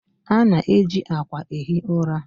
A na-eji akwa ehi ụra.